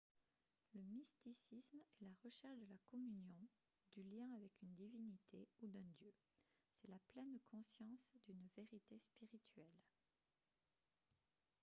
le mysticisme est la recherche de la communion du lien avec une divinité ou d'un dieu c'est la pleine conscience d'une vérité spirituelle